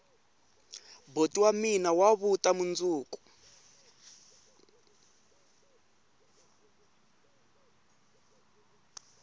boti wa mina wa vuta mundzuku